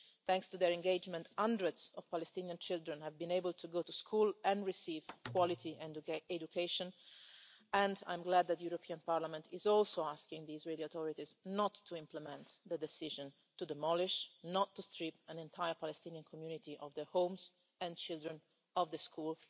Thanks to their engagement, hundreds of Palestinian children have been able to go to school and receive quality education, and I am glad that the European Parliament is also asking the Israeli authorities not to implement the decision to demolish and not to strip an entire Palestinian community of their homes and their children of the school.